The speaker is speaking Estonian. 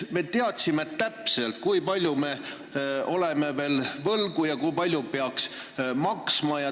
Me saime täpselt teada, kui palju me oleme veel võlgu ja kui palju peaks maksma.